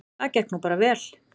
Það gekk nú bara vel.